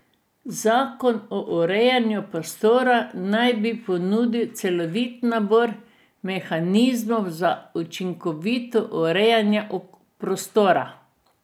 Zakon o urejanju prostora naj bi ponudil celovit nabor mehanizmov za učinkovito urejanje prostora.